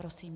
Prosím.